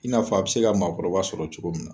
I n'a fɔ a be se ka maakɔrɔba sɔrɔ cogo min na